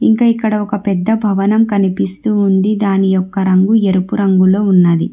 ఇంకా ఇక్కడ ఒక పెద్ద భవనం కనిపిస్తూ ఉంది దాని యొక్క రంగు ఎరుపు రంగులో ఉన్నది.